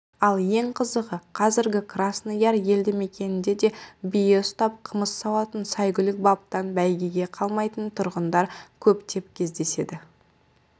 ал ең қызығы қазіргі красный яр елді мекенінде де бие ұстап қымыз сауатын сәйгүлік баптап бәйгеден қалмайтын тұрғындар көптеп кездеседі